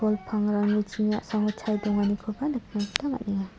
pangrangni chiring a·samo chae donganikoba nikna gita man·enga.